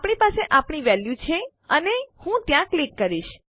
આપણી પાસે આપણી વેલ્યુ છે અને હું ત્યાં ક્લિક કરીશ